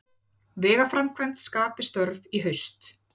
Vegaframkvæmd skapi störf í haust